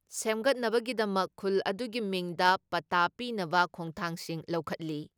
ꯁꯦꯝꯒꯠꯅꯕꯒꯤꯗꯃꯛ ꯈꯨꯜ ꯑꯗꯨꯒꯤ ꯃꯤꯡꯗ ꯄꯠꯇꯥ ꯄꯤꯅꯕ ꯈꯣꯡꯊꯥꯡꯁꯤꯡ ꯂꯧꯈꯠꯂꯤ ꯫